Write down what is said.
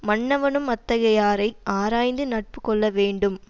மன்னவனும் அத்தகையாரைக் ஆராய்ந்து நட்பு கொள்ள வேண்டும்